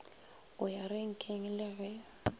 o ya renkeng le ge